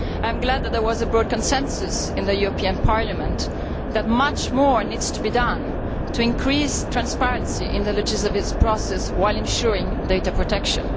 I am glad that there was a broad consensus in the European Parliament that much more needs to be done to increase transparency in the legislative process while ensuring data protection.